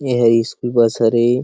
ए ह school bus हरे --